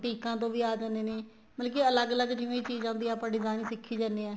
ਬੂਟੀਕਾਂ ਤੋ ਆ ਜਾਣੇ ਨੇ ਮਤਲਬ ਕੀ ਅਲੱਗ ਅਲੱਗ ਜਿਵੇਂ ਚੀਜ਼ ਆਉਦੀ ਹੈ ਆਪਾਂ design ਸਿੱਖੀ ਜਾਨੇ ਆ